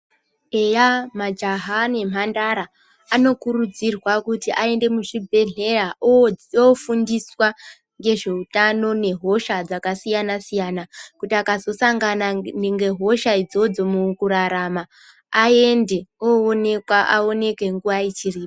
Eya majaha nemhandara anokuridzirwa kuti aende muzvibhedhleya ofundiswa nezveutano nehosha dzakasiyana siyana kuti akazosangana ngehosha idzodzo mukurarama aende owonekwa awonekwe nguwa ichiripo.